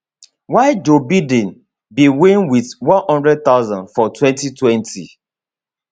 while joe biden bin win wit 100000 for 2020